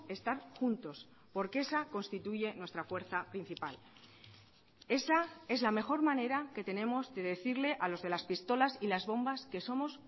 estar juntos porque esa constituye nuestra fuerza principal esa es la mejor manera que tenemos de decirle a los de las pistolas y las bombas que somos